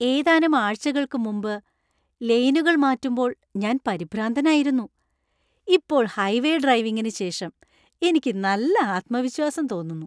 ഏതാനും ആഴ്ചകൾക്ക് മുമ്പ്, ലെയിനുകൾ മാറ്റുമ്പോൾ ഞാൻ പരിഭ്രാന്തനായിരുന്നു, ഇപ്പോൾ ഹൈവേ ഡ്രൈവിംഗിന് ശേഷം എനിക്ക് നല്ല ആത്മവിശാസം തോന്നുന്നു!